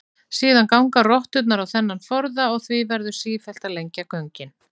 Síðan ganga rotturnar á þennan forða og því verður sífellt að lengja göngin.